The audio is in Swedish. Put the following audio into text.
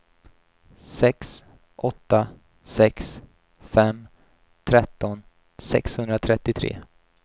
sex åtta sex fem tretton sexhundratrettiotre